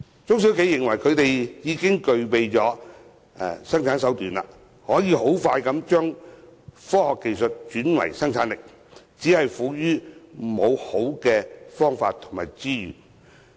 許多中小企具備生產條件，可以快速把科學技術轉為生產力，只是礙於沒有充足資源拓展。